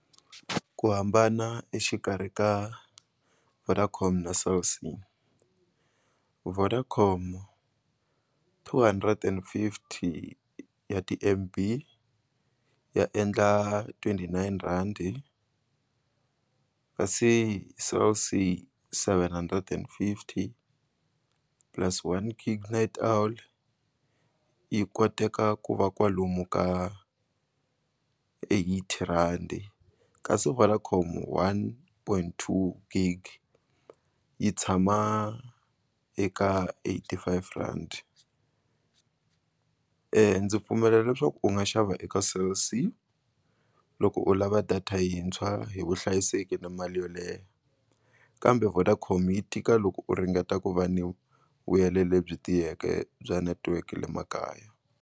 Ku hambana exikarhi ka Vodacom na Cell C, Vodacom two hundred and fifty ya ti-M_B ya endla twenty nine rand kasi Cell C seven hundred and fifty plus one gig night owl yi koteka ku va kwalomu ka eighty rand kasi Vodacom one point two gig yi tshama eka eighty five rand ndzi pfumela leswaku u nga xava eka Cell C loko u lava data yintshwa hi vuhlayiseki na mali yoleye kambe Vodacom yi tika loko u ringeta ku va ni vuyele lebyi tiyeke bya netiweke le makaya.